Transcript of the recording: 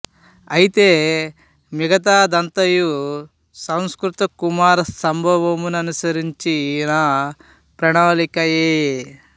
అయితే మిగతా దంతయు సంస్కృత కుమార సంభవమును అనుసరించిన ప్రణాలికయే